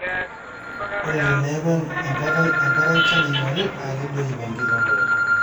ore teneku enkare enchan ingori naa kedoyip enkiremore